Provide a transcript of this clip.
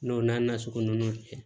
N'o n'a nasugu nunnu cɛ